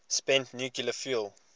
spent nuclear fuel